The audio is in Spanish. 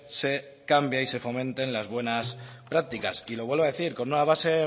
se cambie y se fomenten las buenas prácticas lo vuelvo a decir con una base